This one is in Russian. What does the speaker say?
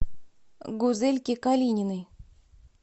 гузельке калининой